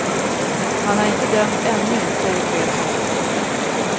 Han är inte dömd ännu, säger chefen.